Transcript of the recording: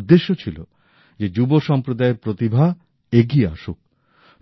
উদ্দেশ্য ছিল যে যুব সম্প্রদা্যের প্রতিভা এগিয়ে আসুক